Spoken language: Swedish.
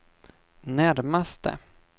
närmaste